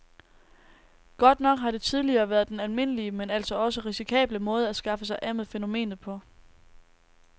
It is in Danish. Godt nok har det tidligere været den almindelige, men altså også risikable måde at skaffe sig af med fænomenet på.